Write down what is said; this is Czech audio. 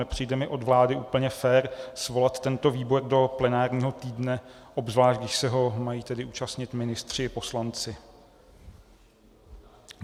Nepřijde mi od vlády úplně fér svolat tento výbor do plenárního týdne, obzvlášť když se ho mají tedy účastnit ministři i poslanci.